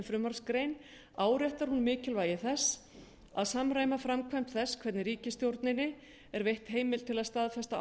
með frumvarpsgrein áréttar hún mikilvægi þess að samræma framkvæmd þess hvernig ríkisstjórninni er veitt heimild til að staðfesta